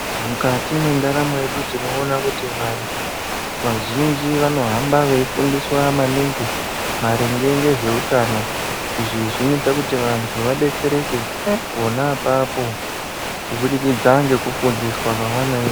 Mukati mwendaramo yedu tinoona kuti vantu vazhinji vanohamba veifundiswa maningi maringe nezveutano izvi zvinoite kuti vantu vadetsereke pona apapo kubudikidza ngekufundiswa kwevanoita